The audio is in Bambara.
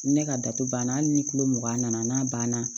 Ni ne ka datugu banna hali ni kilo mugan nana n'a banna